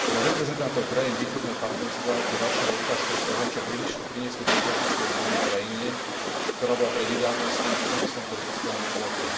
Pre reprezentantov krajín východného partnerstva je Varšava ukážkou toho, čo priniesli demokratické zmeny v krajine, ktorá bola prednedávnom s nimi v tom istom politickom bloku.